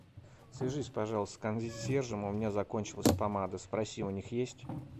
свяжись пожалуйста с консьержем у меня закончилась помада спроси у них есть